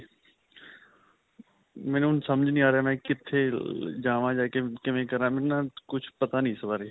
ਮੈਨੂੰ ਹੁਣ ਸਮਝ ਨਹੀਂ ਆ ਰਿਹਾ ਮੈ ਕਿੱਥੇ ਅਅ ਜਾਵਾਂ ਜਾਂ ਕਿਵੇਂ ਕਰਾਂ ਮੈਨੂੰ ਨਾ ਕੁਝ ਪਤਾ ਨਹੀਂ ਇਸ ਬਾਰੇ.